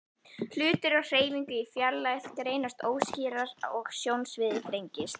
Hlutir á hreyfingu í fjarlægð greinast óskýrar og sjónsviðið þrengist.